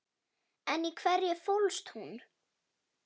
En í hverju fólst hún?